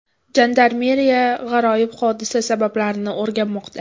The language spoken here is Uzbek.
Jandarmeriya g‘aroyib hodisa sabablarini o‘rganmoqda.